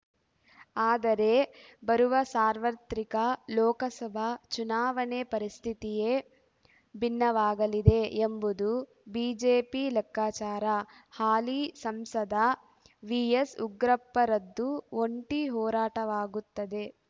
ಆದರೆ ಬರುವ ಸಾರ್ವತ್ರಿಕ ಲೋಕಸಭಾ ಚುನಾವಣೆ ಪರಿಸ್ಥಿತಿಯೇ ಭಿನ್ನವಾಗಲಿದೆ ಎಂಬುದು ಬಿಜೆಪಿ ಲೆಕ್ಕಾಚಾರ ಹಾಲಿ ಸಂಸದ ವಿಎಸ್‌ಉಗ್ರಪ್ಪರದ್ದು ಒಂಟಿ ಹೋರಾಟವಾಗುತ್ತದೆ